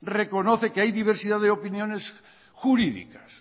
reconoce que hay diversidad de opiniones jurídicas